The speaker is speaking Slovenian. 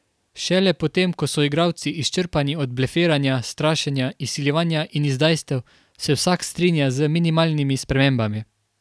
Šele potem ko so igralci izčrpani od blefiranja, strašenja, izsiljevanja in izdajstev, se vsak strinja z minimalnimi spremembami.